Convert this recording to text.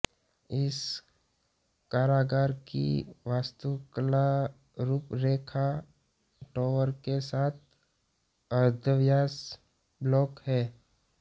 इस कारागार की वास्तुकलारूपरेखा टॉवर के साथ अर्धव्यास ब्लॉक है